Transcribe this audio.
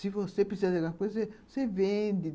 Se você precisar de alguma coisa, você vende.